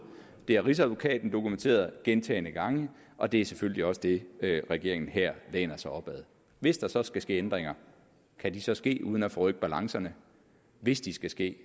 det har rigsadvokaten dokumenteret gentagne gange og det er selvfølgelig også det regeringen her læner sig op ad hvis der så skal ske ændringer kan de så ske uden at forrykke balancerne hvis de skal ske